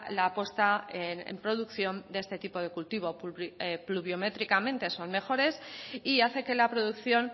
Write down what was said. la puesta en producción de este tipo de cultivo pluviométricamente son mejores y hace que la producción